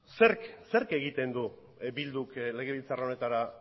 zerk egiten du bilduk legebiltzar honetara